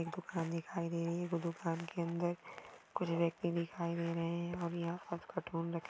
मुझे एक दुकान दिखाई दे रही है और दुकान के अंदर कुछ व्यक्ती दिखाई दे रहे है। और--